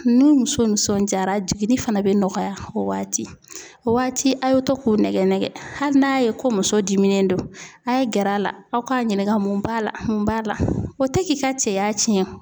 Ni muso nisɔndiyara jiginni fana be nɔgɔya o waati. O waati a' y'o to k'u nɛgɛ nɛgɛ. Hali n'a' ye ko muso diminen don a' ye gɛr'a la aw k'a ɲininka mun b'a la mun b'a la, o te k'i ka cɛya tiɲɛ.